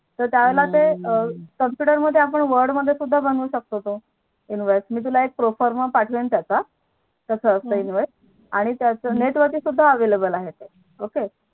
तर त्या वेळे हम्म ते आपण Computer मध्ये आपण Word मध्ये सुद्धा बनवू शकतो आप्ण Invoice मी तुला एक Proforma पाठवेल त्याचा तुला कस असता invoice हम्म आणि त्याच Net वरती सुद्धा आ Available आहे ते Ok